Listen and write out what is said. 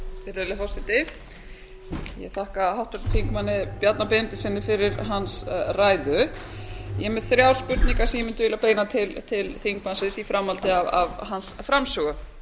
virðulegi forseti ég þakka háttvirtum þingmanni bjarna benediktssyni fyrir hans ræðu ég er með þrjár spurningar sem ég mundi vilja beina til þingmannsins í framhaldi af hans framsögu